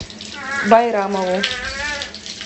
байрамову